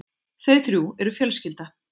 Þau þrjú eru fjölskylda.